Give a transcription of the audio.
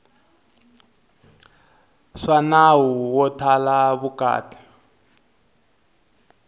swa nawu wo thala vukati